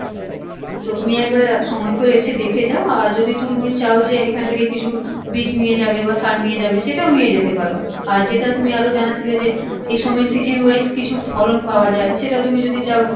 তো তুমি একবার সময় করে এসে দেখে যাও আর যদি তুমি চাও যে এখন থেকে কিছু বীজ নিয়ে যাবে বা সার নিয়ে যাবে সেটাও নিয়ে যেতে পারো আর যেটা তুমি আরো জানাচ্ছিলে যে এই সময় season wise কিছু ফলন পাওয়া যায় সেটা তুমি যদি চাও